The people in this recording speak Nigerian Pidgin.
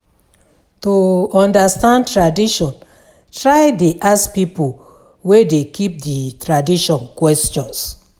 To understand tradition try de ask pipo wey de keep di tradition questions